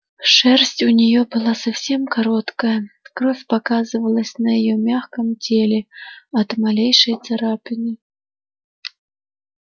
шерсть у неё была совсем короткая кровь показывалась на её мягком теле от малейшей царапины